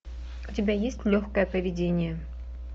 у тебя есть легкое поведение